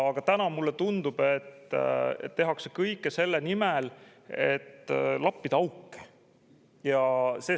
Aga mulle tundub, et täna tehakse kõike selle nimel, et lappida auke.